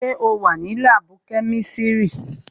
Sẹ́ o wà ní láàbù kẹ́misiri?